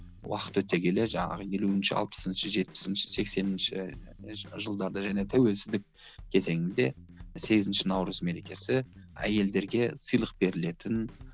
уақыт өте келе жаңағы елуінші алпысыншы жетпісінші сексенінші жылдарда және тәуелсіздік кезеңінде сегізінші наурыз мерекесі әйелдерге сыйлық берілетін